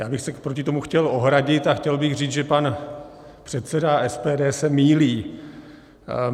Já bych se proti tomu chtěl ohradit a chtěl bych říct, že pan předseda SPD se mýlí.